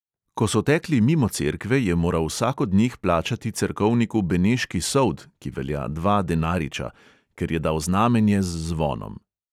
Ko so tekli mimo cerkve, je moral vsak od njih plačati cerkovniku beneški sold (ki velja dva denariča), ker je dal znamenje z zvonom.